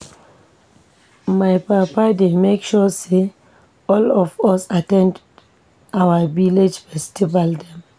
My papa dey make sure sey all of us at ten d our village festival dem.